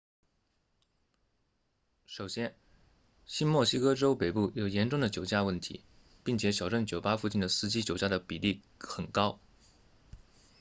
首先新墨西哥州北部有严重的酒驾问题并且小镇酒吧附近的司机酒驾的比例很高